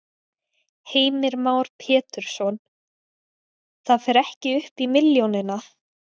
Heimir Már Pétursson: Það fer ekki upp í milljónina?